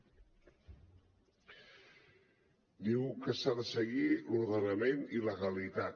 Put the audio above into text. diu que s’ha de seguir l’ordenament i la legalitat